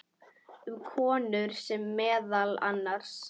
Um konur segir meðal annars